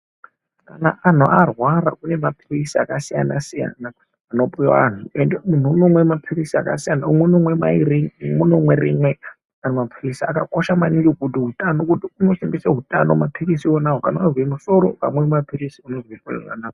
Kana anhu arwara kunema pilizi akasiyana siyana anopuwe anhu ende munhu unomwe palizi akasiyana umwe unomwe mayiri umweni unomwe rimwe. Mapilizi akakosha maningi kuti utano kuti unosimbise utano mapilizi iwonawo. Kana wazwe musoro ukamwe ma pilizi unozozwe zvakanaka.